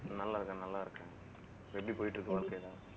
நல்லா இருக்கேன் நல்லா இருக்கேன். எப்படி போயிட்டு இருக்கு வாழ்க்கை எல்லாம்